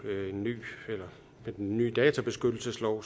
med den nye databeskyttelseslov